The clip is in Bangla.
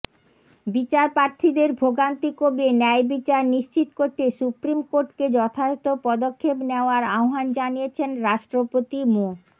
বিচারপ্রার্থীদের ভোগান্তি কমিয়ে ন্যায়বিচার নিশ্চিত করতে সুপ্রিম কোর্টকে যথাযথ পদক্ষেপ নেওয়ার আহ্বান জানিয়েছেন রাষ্ট্রপতি মো